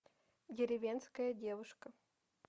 деревенская девушка